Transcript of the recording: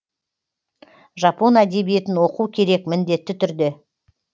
жапон әдебиетін оқу керек міндетті түрде